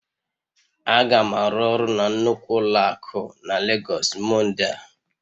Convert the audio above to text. Aga m arụ ọrụ na nnukwu ụlọ akụ na Lagos Monday a